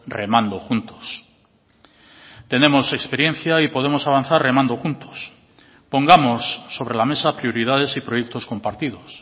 remando juntos tenemos experiencia y podemos avanzar remando juntos pongamos sobre la mesa prioridades y proyectos compartidos